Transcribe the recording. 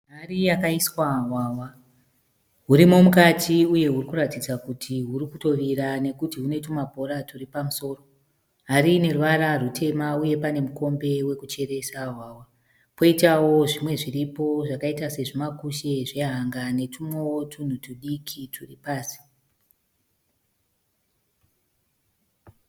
Hari yakaiswa hwahwa. Hurimo mukati uye hurikuratidza kuti hurikutovira nekuti hune tubhora turi pamusoro. Hari ineruvara rwutema. Uye pane mikombe wekucheresa hwahwa. Poitawo zvimwe zviripo zvakaita sezvimakushe zvehanga netumwewo tunhu tudiki turi pasi.